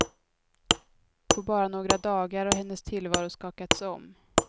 På bara några dagar har hennes tillvaro skakats om.